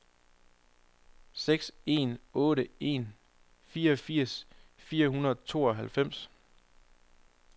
seks en otte en fireogfirs fire hundrede og tooghalvfems